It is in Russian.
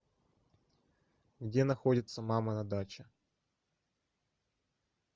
где находится мама на даче